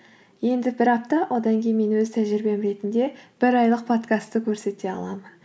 енді бір апта одан кейін мен өз тәжірибем ретінде бір айлық подкастты көрсете аламын